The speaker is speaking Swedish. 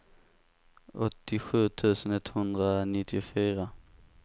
åttiosju tusen etthundranittiofyra